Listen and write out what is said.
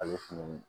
Ale fɛnɛ